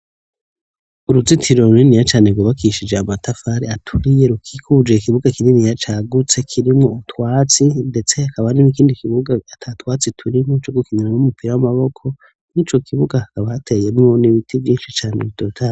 Uruzitiro runiniya cane gwubakishije amatafari aturiye rukikijwe n'ikibuga kinini cagutse kirimwo utwatsi ndetse akaba n'ikindi kibuga atatwatsi turimwo co gukinimwo umupira w'amaboko nk'ico kibuga hakaba hateyemwo n'ibiti vyinshi cane bitotaye.